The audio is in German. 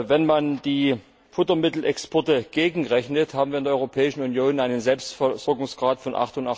Wenn man die Futtermittelexporte gegenrechnet, haben wir in der Europäischen Union einen Selbstversorgungsgrad von